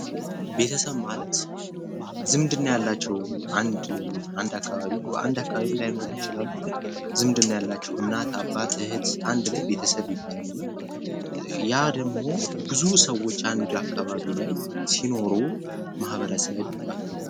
ቤተሰብ ማለት ዝምድና ያላቸው አንድ አካባቢ ላይኖሩ ይችላሉ ግን ዝምድና ያላቸው እናት አባት እህት አንድ ላይ ቤተሰብ ይባላሉ ያ ደግሞ ብዙ ሰዎች አንድ አካባቢ ላይ ሲኖሩ ማህበረሰብ ይባላል።